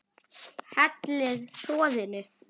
Hellið soðinu.